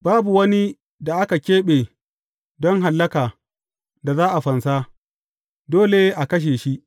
Babu wani da aka keɓe don hallaka da za a fansa; dole a kashe shi.